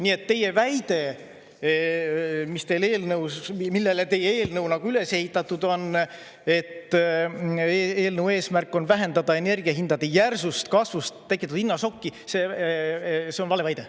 Nii et teie väide, millele teie eelnõu üles ehitatud on, et eelnõu eesmärk on vähendada energiahindade järsust kasvust tekitatud hinnašokki, on valeväide.